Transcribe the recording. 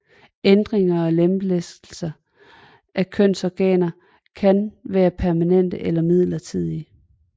Ændringer og lemlæstelser af kønsorganer kan være permanente eller midlertidige